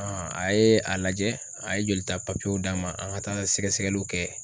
a ye a lajɛ a ye joli ta papiyew] d'a ma an ka taa sɛgɛsɛgɛliw kɛ